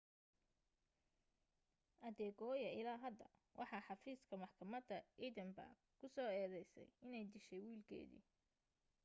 adekoya ilaa hadda waxa xafiiska maxkamada edinburgh ku soo eedaysay inay dishahy wiilkeedii